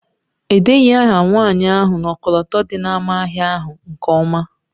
Edeghị aha nwanyị ahụ n'ọkọlọtọ dị n'ámá ahịa ahụ nke ọma.